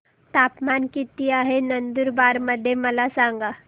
तापमान किता आहे नंदुरबार मध्ये मला सांगा